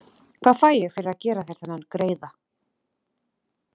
Hvað fæ ég fyrir að gera þér þennan greiða?